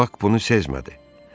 Bak bunu sezmədi.